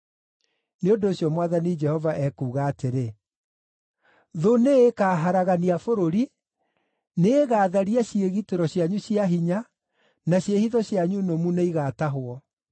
Nĩ ũndũ ũcio Mwathani Jehova ekuuga atĩrĩ, “Thũ nĩĩkaharagania bũrũri; nĩĩgatharia ciĩgitĩro cianyu cia hinya, na ciĩhitho cianyu nũmu nĩigatahwo.”